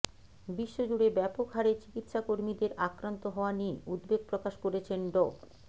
বিশ্বজুড়ে ব্যাপক হারে চিকিৎসা কর্মীদের আক্রান্ত হওয়া নিয়ে উদ্বেগ প্রকাশ করেছেন ড